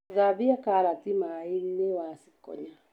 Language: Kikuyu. Thambia karati maĩinĩ wacikonya.